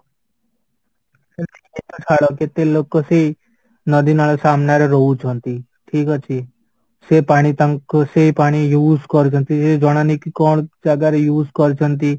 ଛାଡ କେତେ ଲୋକ ସେଇ ନଦୀ, ନାଳ ସାମ୍ନା ରେ ରହୁଛନ୍ତି ଠିକ ଅଛି ସେ ପାଣି ତାଙ୍କୁ ସେ ପାଣି use କରୁଛନ୍ତି କିଛି ଜଣା ନାହିଁ କି କଣ ଜାଗାରେ use କରୁଛନ୍ତି